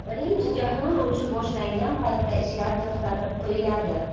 Birinchi jahon urushi boshlangan paytda ishlar to‘xtatib qo‘yiladi.